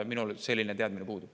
Minul selline teadmine puudub.